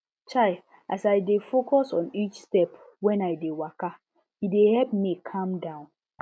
chai as i dey focus on each step when i dey waka e dey help me calm down